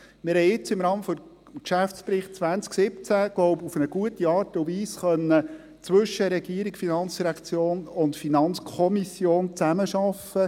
Wir haben jetzt im Rahmen des Geschäftsberichts 2017 – glaube ich – auf eine gute Art und Weise zwischen Regierung, FIN und FiKo zusammenarbeiten können.